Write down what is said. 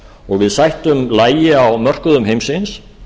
og við sættum lagi á mörkuðum heimsins